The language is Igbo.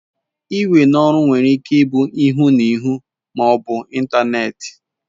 Iwe n'oru were Ike ibu n'ihu n'ihu ma obu n'Ịntanet